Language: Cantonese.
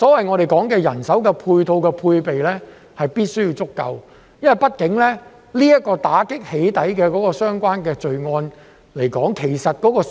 我們所說的人手配套和配備，必須要足夠，畢竟"起底"相關罪案的數字其實並不小。